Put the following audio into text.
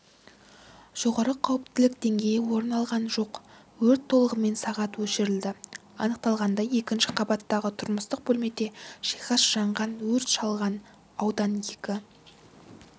жоғары қауіптілік деңгейі орын алған жоқ өрт толығымен сағ өшірілді анықталғандай екінші қабаттағы тұрмыстық бөлмеде жиһаз жанған өрт шалған аудан екі